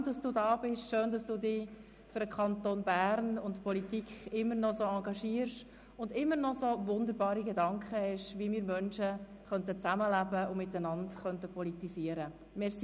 Schön, sind Sie da, und schön, dass Sie sich nach wie vor für den Kanton Bern und die Politik engagieren und dabei immer noch so wunderbare Gedanken haben, wie wir Menschen zusammenleben und miteinander politisieren könnten.